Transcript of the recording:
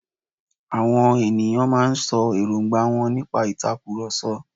Àwọn on ènìyàn máa n sọ èròngbà wọ́n nípa ìtakùròsọ